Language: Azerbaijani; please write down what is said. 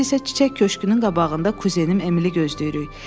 Biz isə çiçək köşküünün qabağında kuzenim Emili gözləyirik.